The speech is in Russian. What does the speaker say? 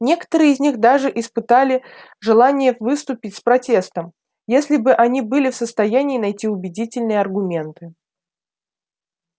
некоторые из них даже испытали желание выступить с протестом если бы они были в состоянии найти убедительные аргументы